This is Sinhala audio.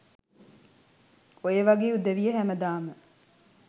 ඔයවගේ උදවිය හැමදාම